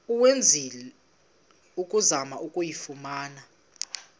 owenzileyo ukuzama ukuyifumana